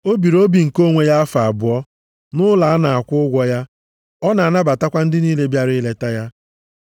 O biri obi nke onwe ya afọ abụọ nʼụlọ ọ na-akwụ ụgwọ ya. Ọ na-anabatakwa ndị niile bịara ileta ya,